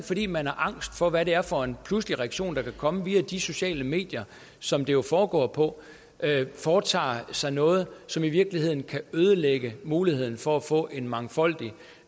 fordi man er angst for hvad det er for en pludselig reaktion der kan komme via de sociale medier som det jo foregår på foretager sig noget som i virkeligheden kan ødelægge muligheden for at få en mangfoldig